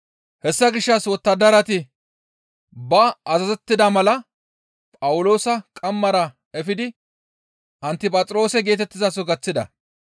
Hessa gishshas wottadarati ba azazettida mala Phawuloosa qammara efidi Antiphaxiroose geetettizaso gaththida.